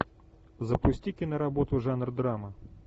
запусти киноработу жанр драма